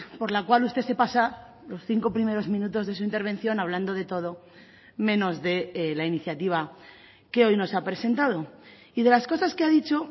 por la cual usted se pasa los cinco primeros minutos de su intervención hablando de todo menos de la iniciativa que hoy nos ha presentado y de las cosas que ha dicho